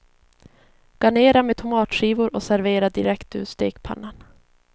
Garnera med tomatskivor och servera direkt ur stekpannan.